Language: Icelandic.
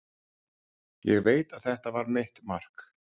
Ég veit að þetta var mitt mark.